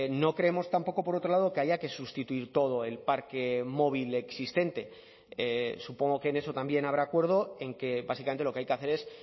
no creemos tampoco por otro lado que haya que sustituir todo el parque móvil existente supongo que en eso también habrá acuerdo en que básicamente lo que hay que hacer es